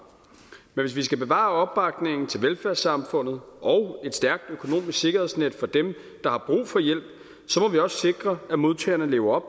men hvis vi skal bevare opbakningen til velfærdssamfundet og et stærkt økonomisk sikkerhedsnet for dem der har brug for hjælp må vi også sikre at modtagerne lever